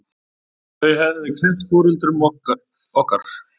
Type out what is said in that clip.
Þau höfðu kennt foreldrum okkar.